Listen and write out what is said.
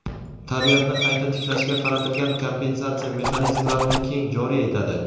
tabiatni qayta tiklashga qaratilgan kompensatsiya mexanizmlarini keng joriy etadi.